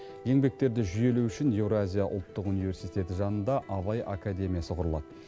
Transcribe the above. еңбектерді жүйелеу үшін еуразия ұлттық университеті жанында абай академиясы құрылады